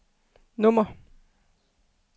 nummer